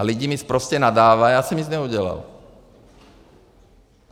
A lidi mi sprostě nadávají, a já jsem nic neudělal.